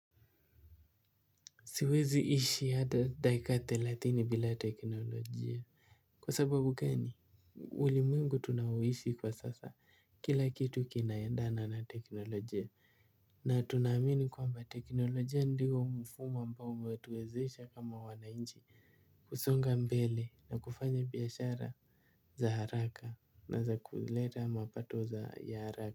Siwezi ishi hata dakika thelathini bila teknolojia. Kwa sababu gani. Ulimwengu tunaoishi kwa sasa kila kitu kina endana na teknolojia. Na tunaamini kwamba teknolojia ndiyo mfumo ambao umetuwezesha kama wanainchi kusonga mbele na kufanya biashara za haraka na za kuleta mapato za ya haraka.